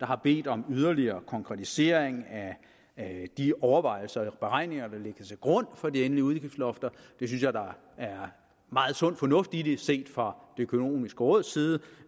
har bedt om yderligere konkretisering af de overvejelser eller beregninger der ligger til grund for de endelige udgiftslofter det synes jeg der er meget sund fornuft i set fra det økonomiske råds side